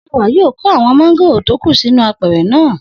Sewà yóò kó àwọn mángòrò tó kù sínú apẹ̀rẹ̀ náà